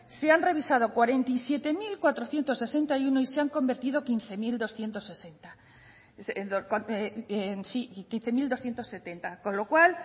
se han revisado cuarenta y siete mil cuatrocientos sesenta y uno y se han convertido quince mil doscientos setenta con lo cual